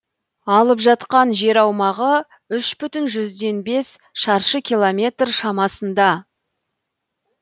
алып жатқан жер аумағы үш бүтін жүзден бес шаршы километр шамасында